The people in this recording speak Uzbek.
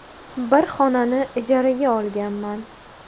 Bir xonani ijaraga olganman.